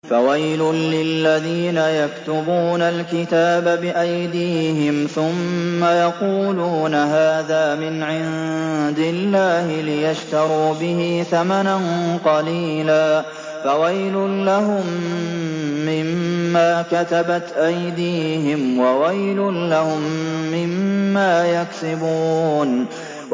فَوَيْلٌ لِّلَّذِينَ يَكْتُبُونَ الْكِتَابَ بِأَيْدِيهِمْ ثُمَّ يَقُولُونَ هَٰذَا مِنْ عِندِ اللَّهِ لِيَشْتَرُوا بِهِ ثَمَنًا قَلِيلًا ۖ فَوَيْلٌ لَّهُم مِّمَّا كَتَبَتْ أَيْدِيهِمْ وَوَيْلٌ لَّهُم مِّمَّا يَكْسِبُونَ